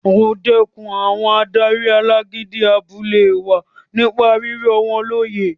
O dẹkùn àwọn adarí alágídí abúlé wa nípa rírọ̀ wọ́n lóyè